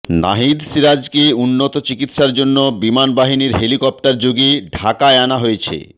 নাহিদ সিরাজকে উন্নত চিকিৎসার জন্য বিমান বাহিনীর হেলিকপ্টারযোগে ঢাকায় আনা হয়েছে